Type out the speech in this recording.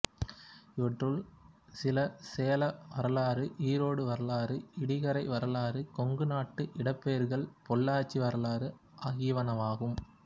இவற்றுள் சில சேல வரலாறு ஈரோடு வரலாறுஇடிகரை வரலாறுகொங்கு நாட்டு இடப்பெயர்கள்பொள்ளாச்சி வரலாறு ஆகியனவாகும்